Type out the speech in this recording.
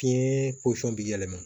Fiɲɛ posɔn bɛ yɛlɛma